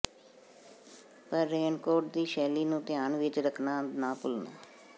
ਪਰ ਰੇਨਕੋਅਟ ਦੀ ਸ਼ੈਲੀ ਨੂੰ ਧਿਆਨ ਵਿਚ ਰੱਖਣਾ ਨਾ ਭੁੱਲਣਾ